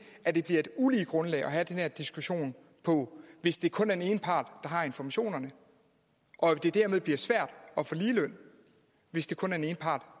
at det bliver et ulige grundlag at have den her diskussion på hvis det kun er den ene part der har informationerne og at det dermed bliver sværere at få ligeløn hvis det kun er den ene part